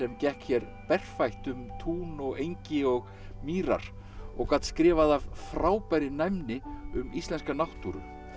gekk hér berfætt um tún og engi og mýrar og gat skrifað af frábærri næmni um íslenska náttúru